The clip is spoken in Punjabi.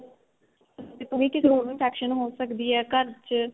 ਜਿਵੇਂ ਕਿਸੇ ਹੋਰ ਨੂੰ infection ਹੋ ਸਕਦੀ ਏ ਘਰ ਚ